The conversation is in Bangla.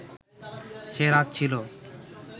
সে রাত ছিল